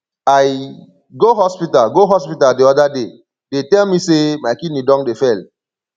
i go hospital go hospital the other day dey tell me say my kidney don dey fail